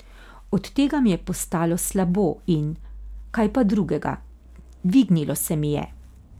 Od tega mi je postalo slabo in, kaj pa drugega, dvignilo se mi je.